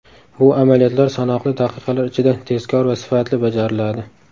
Bu amaliyotlar sanoqli daqiqalar ichida, tezkor va sifatli bajariladi.